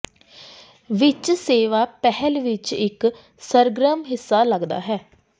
ਵਿਚ ਸੇਵਾ ਪਹਿਲ ਵਿੱਚ ਇੱਕ ਸਰਗਰਮ ਹਿੱਸਾ ਲੱਗਦਾ ਹੈ